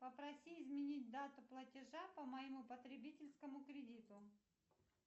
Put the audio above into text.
попроси изменить дату платежа по моему потребительскому кредиту